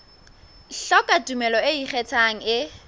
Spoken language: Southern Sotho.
hloka tumello e ikgethang e